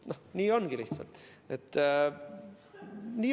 Nii lihtsalt ongi.